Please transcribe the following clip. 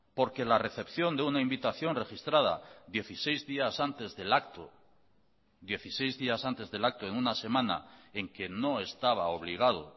porque la recepción de una invitación registrada dieciséis días antes del acto dieciséis días antes del acto en una semana en que no estaba obligado